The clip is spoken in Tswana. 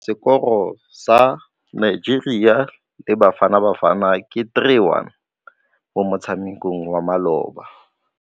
Sekôrô sa Nigeria le Bafanabafana ke 3-1 mo motshamekong wa malôba.